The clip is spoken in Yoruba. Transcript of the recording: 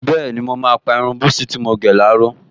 Bẹ́ẹ̀ni, mo máa pa irun búsí tí mo gẹ̀ láró